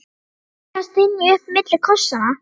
tókst Gerði að stynja upp milli kossanna.